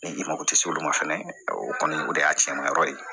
Ni i mago tɛ se olu ma fɛnɛ o kɔni o de y'a cɛnman yɔrɔ ye